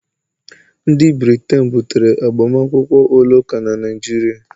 Ndị Briten butere agbamakwụkwọ ụlọ ụka na Naịjirịa